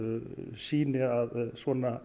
sýni að svona